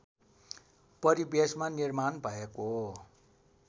परिवेशमा निर्माण भएको